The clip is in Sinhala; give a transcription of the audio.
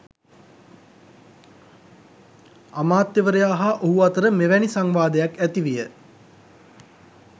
අමාත්‍යවරයා හා ඔහු අතර මෙවැනි සංවාදයක් ඇති විය.